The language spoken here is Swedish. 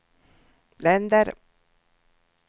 länder